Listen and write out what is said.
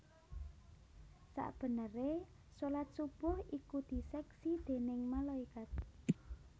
Sabeneré shalat subuh ikudiseksi déning malaikat